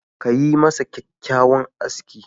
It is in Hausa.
Ka yi masa kyakkyawan aski.